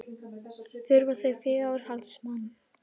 Þurfa þau fjárhaldsmann?